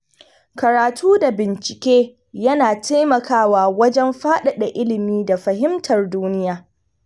Karatu da bincike yana taimakawa wajen faɗaɗa ilimi da fahimtar duniya.